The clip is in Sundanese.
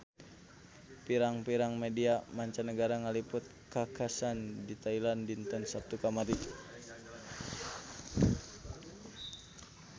Pirang-pirang media mancanagara ngaliput kakhasan di Thailand dinten Saptu kamari